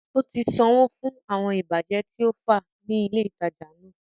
Ó ti sanwó fún àwọn ìbàjẹ́ tí ó fá ní ilè ìtajà náà